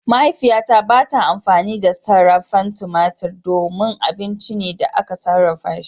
Mahaifiyata ba ta amfani da sarrafen tumatur domin abinci ne da aka sarrafa shi.